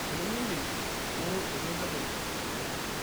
Tenimindim, ng'oru eretoto tedikae.